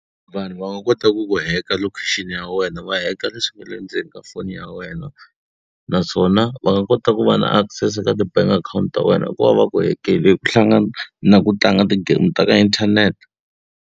Vanhu va nga kota ku ku hack-a location-i ya wena, va hack-a leswi nga le ndzeni ka foni ya wena. Naswona va nga kota ku va na access ka ti-bank account ta wena ku va va ku hack-ile hi ku hlangana na ku tlanga ti-game ta ka internet.